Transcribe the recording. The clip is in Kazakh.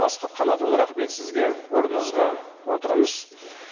асхат қанатұлы рахмет сізге орныңызға отырыңыз